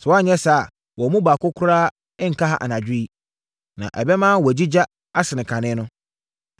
sɛ woanyɛ saa a, wɔn mu baako koraa nka ha anadwo yi. Na ɛbɛma woagyigya asene kane no.”